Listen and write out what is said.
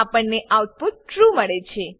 આપણને output true true મળે છે